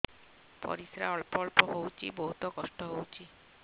ପରିଶ୍ରା ଅଳ୍ପ ଅଳ୍ପ ହଉଚି ବହୁତ କଷ୍ଟ ହଉଚି